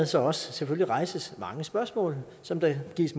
så også rejses mange spørgsmål som der gives